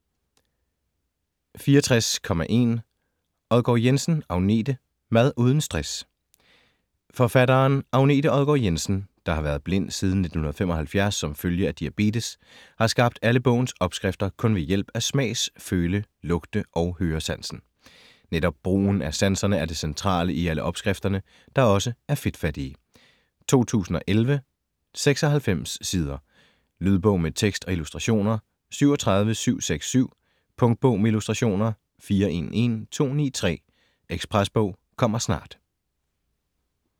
64.1 Odgaard-Jensen, Agnete: Mad uden stress Forfatteren, Agnete Odgaard-Jensen, der har været blind siden 1975 som følge af diabetes, har skabt alle bogens opskrifter kun ved hjælp af smags-, føle-, lugte- og høresansen. Netop brugen af sanserne er det centrale i alle opskrifterne, der også er fedtfattige. 2011, 96 sider. Lydbog med tekst og illustrationer 37767 Punktbog med illustrationer 411293 Ekspresbog - kommer snart